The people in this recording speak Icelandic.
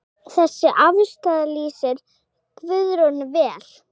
Þessi afstaða lýsir Guðrúnu vel.